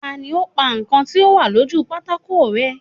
Tani ó pa nǹkan tí ó wà lójú pátákó rẹ́?